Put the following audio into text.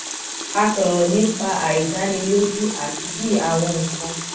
a sòrò nípa àìdánilójú àti bí àwọn nǹkan